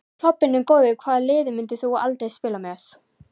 Klobbinn er góður Hvaða liði myndir þú aldrei spila með?